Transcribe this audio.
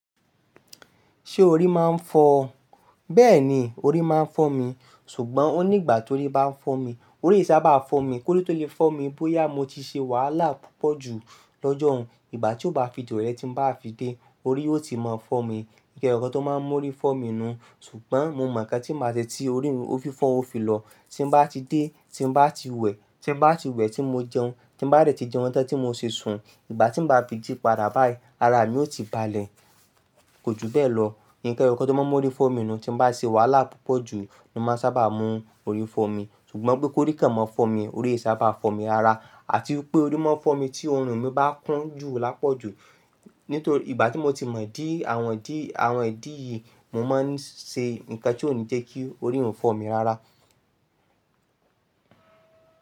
Ṣé orí máa ń fọ́ ọ? Bẹ́ẹ̀ni, orí máa ń fọ́ mi, ṣùgbọ́n ó nígbà tórí bá ń fọ́ mi, orí sábà fọ́ mi. Kórí tó lè fọ́ mi bóyá mo ti ṣe wàhálà púpọ̀ ju lọ́jọ́ ọ̀ún. Ìgbà tí ó bá fi di rọ̀lẹ́ tí ń bá fi dé, orí ó ti máa fọ́ mi. Nǹkan ẹyọ kan tó máa ń mú orí fọ́ mi nù, ṣùgbọ́n mo mọ̀ ká tí màá ṣe tí orí mi ó fi fọ́, ó fi lọ. Tí bá ti dé, tí bá ti wẹ̀, tí bá ti wẹ̀ tí mo jẹun, tí bá dẹ̀ ti jẹun tán tí mo ṣe sùn, ìgbà tí ń bá fi jí padà báyìí, ara mi ó ti balẹ̀. Kò ju bẹ́ẹ̀ lọ. Nǹkan ẹyọ kan tó máa ń mú orí fọ́ mi nù, tí bá ṣe wàhálà púpọ̀ ju, ni ó máa sábà mú orí fọ́ mi. Ṣùgbọ́n pé kórí kàn máa fọ́ mi, orí sábà fọ́ mi ara àti pé orí máa fọ́ mi tí ọrùn mi bá kún jù lápọ̀jù. Nítorí ìgbà tí mo ti mọ̀ dí àwọn dí, àwọn ìdí yìí, mo máa ń ṣe nǹkan tí ó ní jẹ́ kí orí òún fọ́ mi rara.